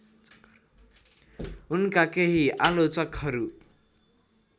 उनका केही आलोचकहरू